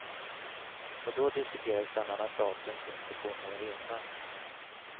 Och då diskuterades bland annat datum för inspektion av arenorna.